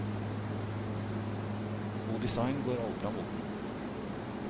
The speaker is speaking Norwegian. God design går aldri av moten.